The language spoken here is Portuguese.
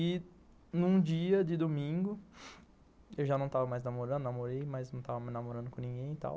E num dia de domingo, eu já não tava mais namorando, eu namorei, mas não tava mais namorando com ninguém e tal.